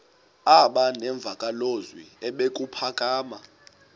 aba nemvakalozwi ebuphakama